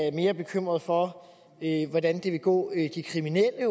er mere bekymret for hvordan det vil gå de kriminelle